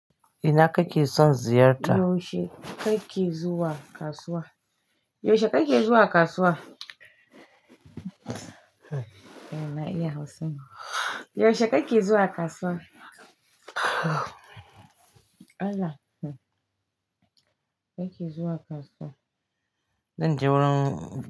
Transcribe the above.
Ina kake son ziyarta? Yaushe kake zuwa kasuwa? Yaushe kake zuwa kasuwa? Ena iya Hausa ma. Yaushe kake zuwa kasuwa? Allah! Kake zuwa kasuwa. Zan je wurin.